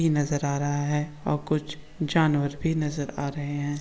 नजर आ रहा है और कुछ जानवर भी नजर आ रहे है।